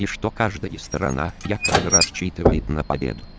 и что каждая сторона рассчитывает на победу